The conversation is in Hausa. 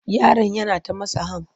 Yaron yana ta matsa ham.